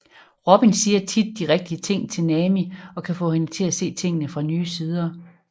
Robin siger tit de rigtige ting til Nami og kan få hende til at se tingene fra nye sider